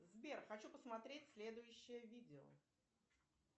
сбер хочу посмотреть следующее видео